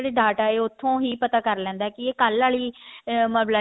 data ਹੈ ਉੱਥੋਂ ਹੀ ਪਤਾ ਕਰ ਲੈਂਦਾ ਵੀ ਇਹ ਕੱਲ ਆਲੀ ਅਮ